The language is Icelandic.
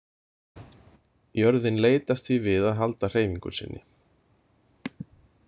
Jörðin leitast því við að halda hreyfingu sinni.